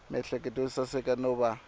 miehleketo yo saseka no va